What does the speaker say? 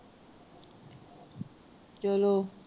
ਚਲੋ